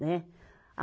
Né? A